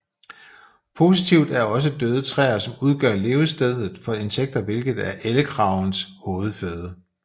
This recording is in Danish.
Positivt er også døde træer som udgør levestedet for insekter hvilket er ellekragens hovedføde